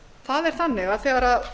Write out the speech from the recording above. það er þannig að þegar